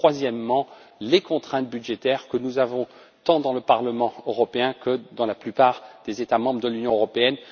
quant à la troisième, ce sont les contraintes budgétaires que nous avons tant au Parlement européen que dans la plupart des États membres de l'Union européenne.